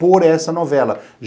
por essa novela.